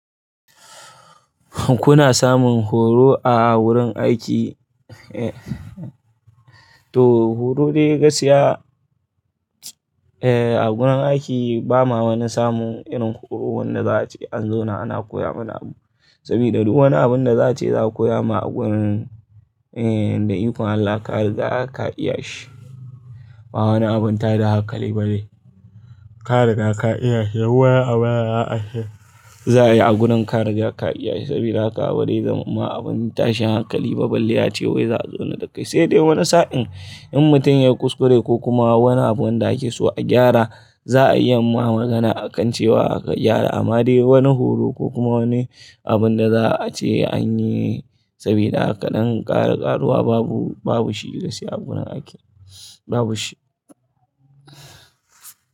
Kuna samun horo a wurin aiki? To horo dai gaskiya, eh a gurin aiki ba ma wani samun irin horo wanda za a ce an zo na ana koya mana abu. Saboda duk wani abun da za a ce za a koya ma a gunin eh da ikon Allah ka ruga ka iya shi. Ba wani abun ta da hakali bane. Ka riga ka iya shi, wai abun ya ashe. Za a yi a gurin ka da za ka iya shi saboda haka abun dai zama abun tashin hakali ba balle a ce wai za a zo na dakai. Sai dai wani sa'in in mutum ya kuskure ko kuma wani abun da ake so a gyara, za a iya ma magana akan cewa aka gyara amma dai wani horo ko kuma wani abun da za a ce an yi sabida haka ɗan ƙara ƙaruwa babu, babu shi gaskiya a gunan aiki babu shi.